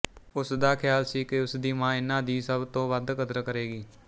ਉਸ ਦਾ ਖ਼ਿਆਲ ਸੀ ਕਿ ਉਸ ਦੀ ਮਾਂ ਇਨ੍ਹਾਂ ਦੀ ਸਭ ਤੋਂ ਵਧ ਕਦਰ ਕਰੇਗੀ